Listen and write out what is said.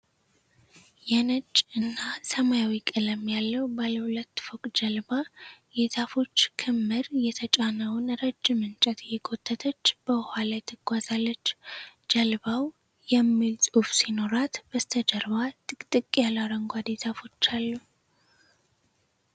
የነጭ እና ሰማያዊ ቀለም ያለው ባለሁለት ፎቅ ጀልባ የዛፎች ክምር የተጫነችውን ረጅም እንጨት እየጎተተች በውሃ ላይ ትጓዛለች። ጀልባው "RECUERDO" የሚል ጽሑፍ ሲኖራት፣ በስተጀርባ ጥቅጥቅ ያሉ አረንጓዴ ዛፎች አሉ።